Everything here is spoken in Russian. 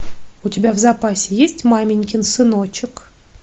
у тебя в запасе есть маменькин сыночек